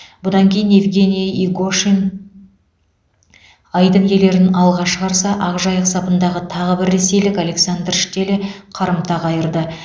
бұдан кейін евгений игошин айдын иелерін алға шығарса ақжайық сапындағы тағы бір ресейлік александр штеле қарымта қайырды